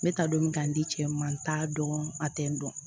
N bɛ taa don min k'a di cɛ ma n t'a dɔn a tɛ n dɔn